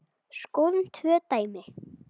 Skoðum tvö dæmi.